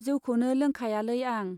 जौखौनो लोंखायालै आं।